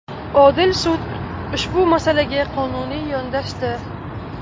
Odil sud ushbu masalaga qonuniy yondashdi.